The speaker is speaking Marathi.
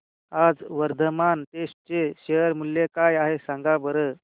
आज वर्धमान टेक्स्ट चे शेअर मूल्य काय आहे सांगा बरं